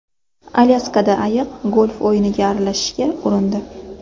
Alyaskada ayiq golf o‘yiniga aralashishga urindi .